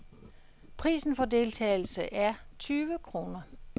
Prisen for deltagelse er tyve kroner.